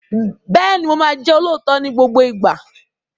Bẹ́ẹ̀ni, mo máa jẹ́ olóòótọ́ ní gbogbo ìgbà.